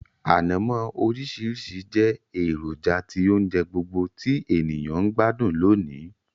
Ànamó orísìrísi je èròjà ti ounje gbogbo ti èyàn n gbádùn lónìí